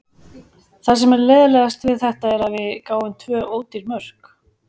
Það sem er leiðinlegast við þetta er að við gáfum tvö ódýr mörk.